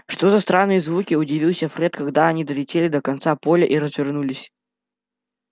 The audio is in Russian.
что за странные звуки удивился фред когда они долетели до конца поля и развернулись